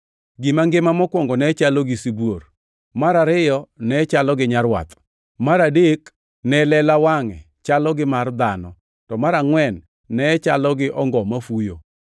Gima ngima mokwongo ne chalo gi sibuor, mar ariyo ne chalo gi nyarwath, mar adek ne lela wangʼe chalo gi mar dhano, to mar angʼwen ne chalo gi ongo mafuyo.